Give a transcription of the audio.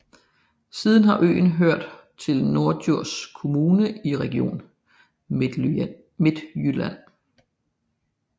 Siden har øen hørt til Norddjurs Kommune i Region Midtjylland